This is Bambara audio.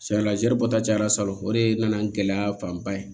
Sayala zɛri bɔta cayara sali o de nana ni gɛlɛya fanba ye